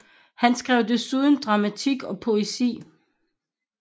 Han skrev desuden dramatik og poesi